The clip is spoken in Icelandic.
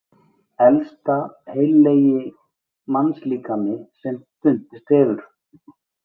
Elsta heillegi mannslíkami sem fundist hefur.